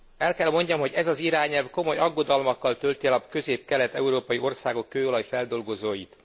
El kell hogy mondjam, hogy ez az irányelv komoly aggodalmakkal tölti el a közép kelet európai országok kőolaj feldolgozóit.